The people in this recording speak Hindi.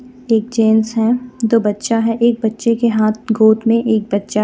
एक जेंट्स हे दो बच्चा हे एक बच्चे के हाथ गोद मे एक बच्चा हे.